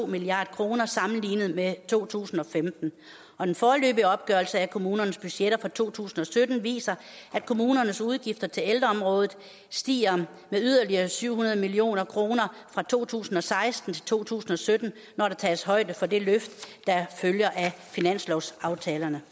milliard kroner sammenlignet med to tusind og femten og den foreløbige opgørelse af kommunernes budgetter for to tusind og sytten viser at kommunernes udgifter til ældreområdet stiger med yderligere syv hundrede million kroner fra to tusind og seksten til to tusind og sytten når der tages højde for det løft der følger af finanslovsaftalerne